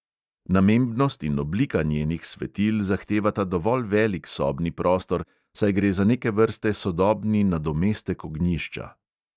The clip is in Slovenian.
Namembnost in oblika njenih svetil zahtevata dovolj velik sobni prostor, saj gre za neke vrste sodobni nadomestek ognjišča.